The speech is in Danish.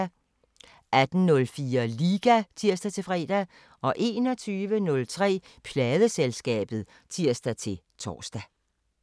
18:04: Liga (tir-fre) 21:03: Pladeselskabet (tir-tor)